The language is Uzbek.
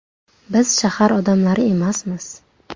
Biz shahar odamlari emasmiz.